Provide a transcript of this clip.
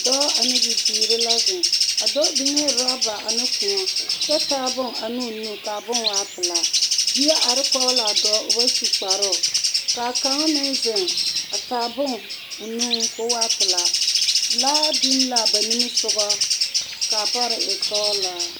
Dɔɔ ane bibiiri la zeŋ. A dɔɔ biŋ la rɔba ane kõɔ kyɛ taa bon ane o nu k'a bon waa pelaa. Bie ar kɔɔ l'a dɔɔ, o ba su kparoo. K'a kaŋ meŋ zeŋ a taa bon o nuŋ k'o waa pelaa. Laa bin l'a ba nimisogɔ ka a par e sɔɔlaa.